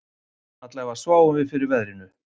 Allavega sváfum við fyrir veðrinu